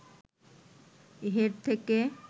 head থেকে